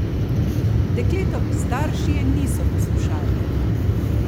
Dekletovi starši je niso poslušali.